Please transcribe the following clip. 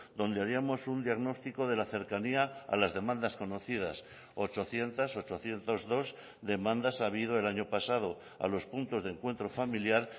donde haríamos un diagnóstico de la cercanía a las demandas conocidas ochocientos ochocientos dos demandas ha habido el año pasado a los puntos de encuentro familiar